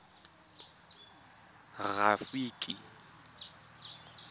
rafiki